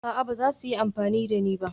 A'a, ba su yi amfani da ni ba